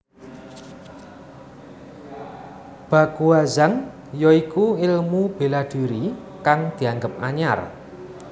Baguazhang ya iku ilmu bela diri kang dianggep anyar